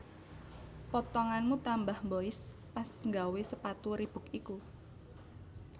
Potonganmu tambah mbois pas nggawe sepatu Reebok iku